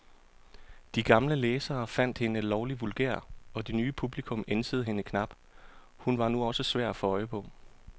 De gamle læsere fandt hende lovlig vulgær, og det nye publikum ænsede hende knap, hun var nu også svær at få øje på.